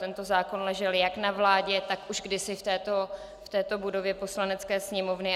Tento zákon ležel jak na vládě, tak už kdysi v této budově Poslanecké sněmovny.